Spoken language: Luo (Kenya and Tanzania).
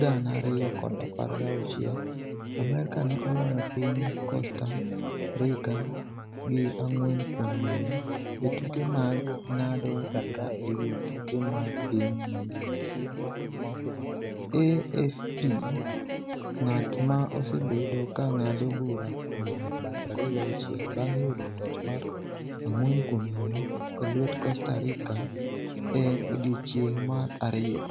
2016, Amerka ne oloyo piny Costa Rica gi 4-0 e tuke mag ng’ado bura e wi tuke mag piny mangima, AFP. ng’at ma osebedo ka ng’ado bura kuom higni 36 bang’ yudo loch mar 4-0 e lwet Costa Rica e odiechieng’ mar ariyo.